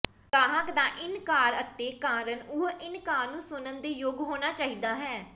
ਗਾਹਕ ਦਾ ਇਨਕਾਰ ਅਤੇ ਕਾਰਨ ਉਹ ਇਨਕਾਰ ਨੂੰ ਸੁਣਨ ਦੇ ਯੋਗ ਹੋਣਾ ਚਾਹੀਦਾ ਹੈ